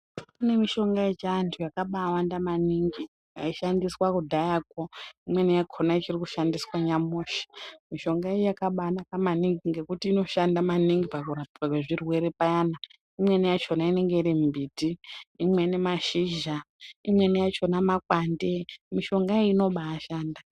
Kune mushonga yechiantu yakaabaawanda maningi yaishandiswa kudhayakwo imweni yakhona ichiri kushandiswa nyamusho mushongayo yakabaanaka maningi ngekuti inoshanda maningi pakurapwa kwezvirwerw payani imweni yachona inenge iri mbiti imweni mashizha imweni yachona makwande mushonga iyi inobaashanda.